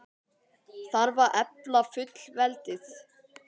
Þarf að efla fullveldið?